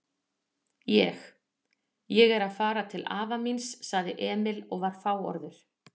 Ég. ég er að fara til afa míns, sagði Emil og var fáorður.